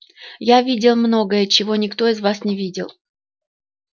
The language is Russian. и я видел многое чего никто из вас не видел